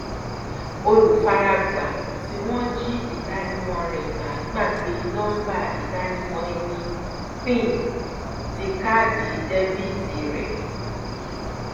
olùfàràgbà tí wọn jí ìdánimọ rẹ gbà gbagbé nọmbà ìdánimọ ẹni pin ti kaàdì débítì rẹ